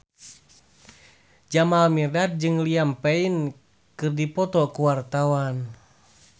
Jamal Mirdad jeung Liam Payne keur dipoto ku wartawan